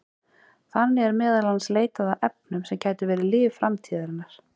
Þannig er meðal annars leitað að efnum sem gætu verið lyf framtíðarinnar.